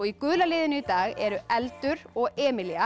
í gula liðinu í dag eru eldur og